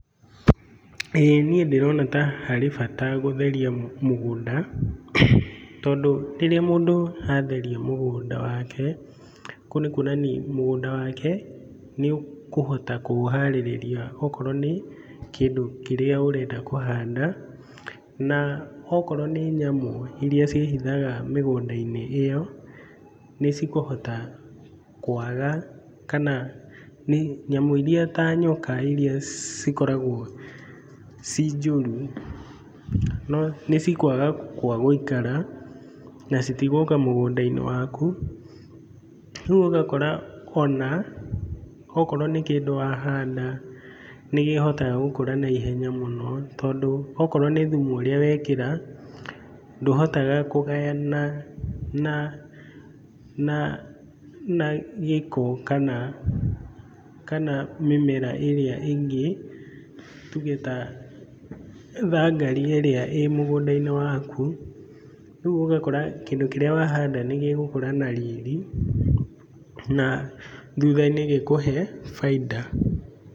ĩĩ niĩ ndĩrona ta harĩ bata gũtheria mũgũnda, tondũ rĩrĩa mũndũ atheria mũgũnda wake kũu nĩ kuonania mũgũnda wake nĩũkũhota kũũharĩrĩria okorwo nĩ kĩndũ kĩrĩa ũrenda kũhanda. Na okorwo nĩ nyamũ iria ciĩhithaga mĩgũnda-inĩ ĩyo, nĩcikũhota kwaga, kana nyamũ iria ta nyoka na iria cikoragwo ciĩ njũru nĩcikwaga gwa gũikara, na citigũka mũgũnda-inĩ waku. Rĩu ũgakora ona akorwo nĩ kĩndũ wahanda nĩkĩhotaga gũkũra naihenya mũno, tondũ akorwo nĩ thumu ũrĩa wekĩra ndũhotaga kũgayana na na gĩko kana mĩmera ĩrĩa ĩngĩ, tuge ta thangari ĩrĩa ĩrĩ mũgũnda-inĩ waku, rĩu ũgakora kĩndũ kĩrĩa wahanda nĩgĩgũkũra na riri na thutha-inĩ gĩkũhe bainda.